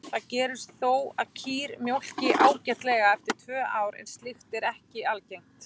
Það gerist þó að kýr mjólki ágætlega eftir tvö ár en slíkt er ekki algengt.